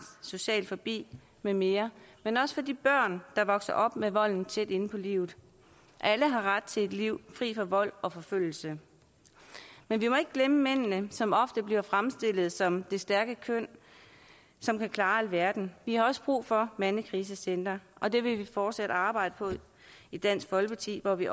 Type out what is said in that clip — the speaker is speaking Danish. social fobi med mere men også for de børn der vokser op med volden tæt inde på livet alle har ret til et liv fri for vold og forfølgelse men vi må ikke glemme mændene som ofte bliver fremstillet som det stærke køn som kan klare alverden vi har også brug for mandekrisecentre og det vil vi fortsat arbejde for i dansk folkeparti hvor vi